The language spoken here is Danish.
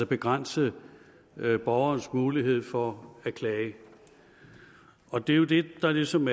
begrænse borgerens mulighed for at klage og det er jo det der ligesom